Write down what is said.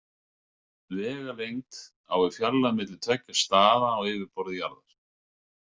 Vegalengd á við fjarlæg milli tveggja staða á yfirborði jarðar.